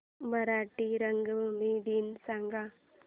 मराठी रंगभूमी दिन सांगा